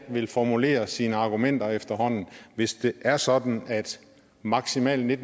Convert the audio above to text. vil formulere sine argumenter efterhånden hvis det er sådan at maksimalt en